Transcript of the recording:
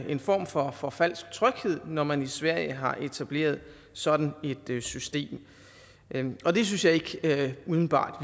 en form for for falsk tryghed når man i sverige har etableret sådan et system og det synes jeg ikke umiddelbart at